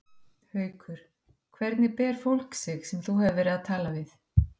Haukur: Hvernig ber fólk sig sem þú hefur verið að tala við?